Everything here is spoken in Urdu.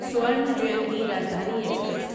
سوارنا جیانتی راجدھانی ایکسپریس